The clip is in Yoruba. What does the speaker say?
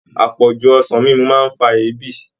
Àpọ̀jù ọsàn mímu ń fa ebi